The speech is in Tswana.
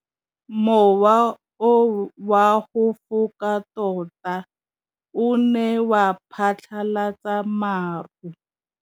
Mowa o wa go foka tota o ne wa phatlalatsa maru.